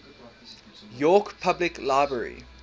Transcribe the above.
york public library